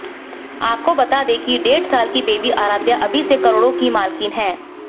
आपको बता दें कि डेढ़ साल की बेबी आराध्या अभी से करोड़ों की मालकिन है